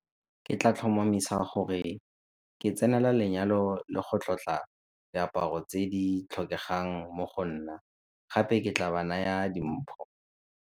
Ke tla tlhomamisa gore ke tsenela lenyalo le go tlotla diaparo tse di tlhokegang mo go nna gape ke tla ba naya dimpho.